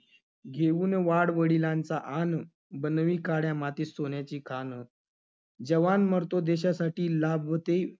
घेऊन वाडवडिलांचा आन बनवी काड्या मातीत सोन्याची खाण. जवान मरतो देशासाठी लागवती